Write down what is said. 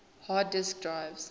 hard disk drives